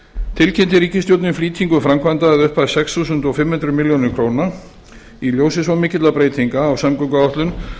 tilkynnti ríkisstjórnin flýtingu framkvæmda að upphæð sex þúsund fimm hundruð milljóna króna í ljósi svo mikilla breytinga á samgönguáætlun